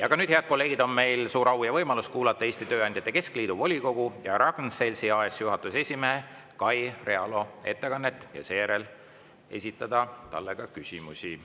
Aga nüüd, head kolleegid, on meil suur au kuulata Eesti Tööandjate Keskliidu volikogu ja Ragn-Sells AS‑i juhatuse esimehe Kai Realo ettekannet ja seejärel saame esitada talle ka küsimusi.